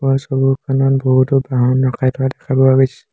ওপৰৰ ছবিখনত বহুতো বাহন ৰখাই থোৱা দেখা পোৱা গৈছে।